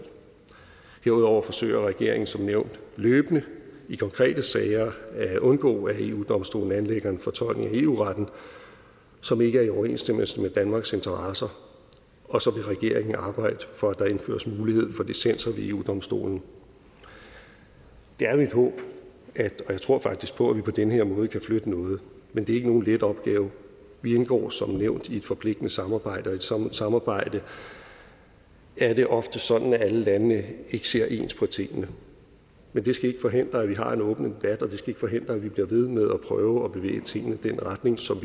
herudover forsøger regeringen som nævnt løbende i konkrete sager at undgå at eu domstolen anlægger en fortolkning af eu retten som ikke er i overensstemmelse med danmarks interesser og så vil regeringen arbejde for at der indføres mulighed for dissenser ved eu domstolen det er mit håb og jeg tror faktisk på det at vi på den her måde kan flytte noget men det er ikke nogen let opgave vi indgår som nævnt i et forpligtende samarbejde og i sådan et samarbejde er det ofte sådan at alle landene ikke ser ens på tingene men det skal ikke forhindre at vi har en åben debat og det skal ikke forhindre at vi bliver ved med at prøve at bevæge tingene i den retning som